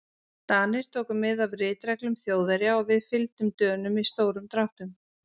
Danir tóku mið af ritreglum Þjóðverja og við fylgdum Dönum í stórum dráttum.